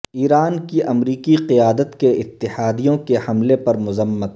ایران کی امریکی قیادت کے اتحادیوں کے حملے پر مذمت